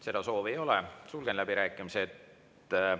Seda soovi ei ole, sulgen läbirääkimised.